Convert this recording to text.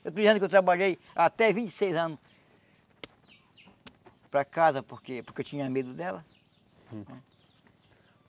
Eu estou dizendo que eu trabalhei até vinte e seis anos para casa, porque porque eu tinha medo dela.